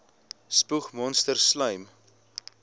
spoeg monsters slym